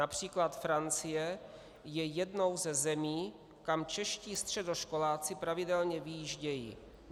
Například Francie je jednou ze zemí, kam čeští středoškoláci pravidelně vyjíždějí.